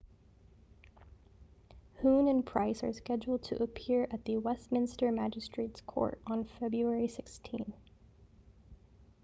huhne and pryce are scheduled to appear at the westminster magistrates court on february 16